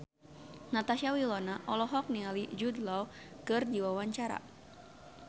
Natasha Wilona olohok ningali Jude Law keur diwawancara